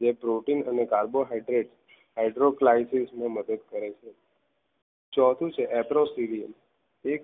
જે protein અને carbohydrets hydroclasses ની મદદ કરે છે ચોથું છે એપ્રો civil એક